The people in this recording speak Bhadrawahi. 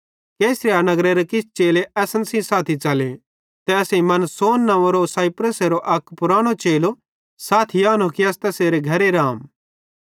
कैसरिया नगरेरे किछ चेले असन सेइं साथी च़ले ते असेईं मनासोन नंव्वेरो साइप्रसेरो अक पुरानो चेलो साथी आनो कि अस तैसेरे घरे रहम